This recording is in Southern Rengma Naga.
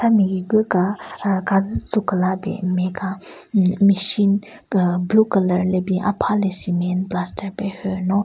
Ame higu ka aa kazu tzu kala ben nme ka hmm machine aa blue colour le bin apha le cement plaster pe hyü no--